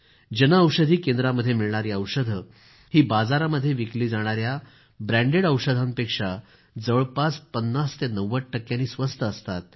जनऔषधी केंद्रांमध्ये मिळणारी औषधं ही बाजारामध्ये विकली जाणाऱ्या ब्रँडेड औषधांपेक्षा जवळपास 50 ते 90 टक्के स्वस्त असतात